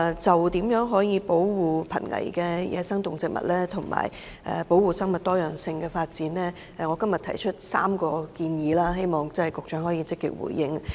就如何保護瀕危野生動植物及生物多樣性，我今天提出3項建議，希望局長可以積極回應。